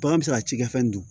Bagan bɛ se ka cikɛfɛnw dun